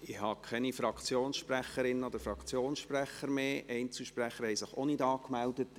Es haben sich keine weiteren Fraktionssprechenden oder Einzelsprechende angemeldet.